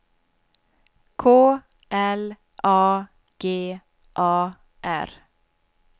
K L A G A R